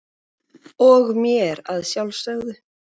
og mér að sjálfsögðu.